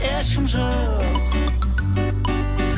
ешкім жоқ